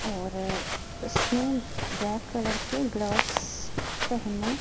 और उसने black colour gloves पहने--